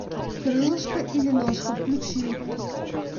крылышко или ножка включи